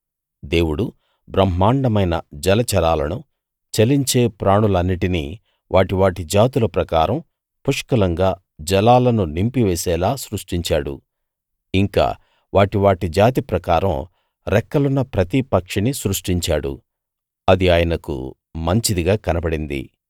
దేవుడు బ్రహ్మాండమైన జలచరాలనూ చలించే ప్రాణులన్నిటినీ వాటి వాటి జాతుల ప్రకారం పుష్కలంగా జలాలను నింపి వేసేలా సృష్టించాడు ఇంకా వాటి వాటి జాతి ప్రకారం రెక్కలున్న ప్రతి పక్షినీ సృష్టించాడు అది ఆయనకు మంచిదిగా కనబడింది